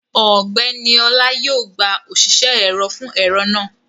Ọgbẹ́ni Ọlá yóò gba òṣìṣẹ́ ẹ̀rọ fún ẹ̀rọ náà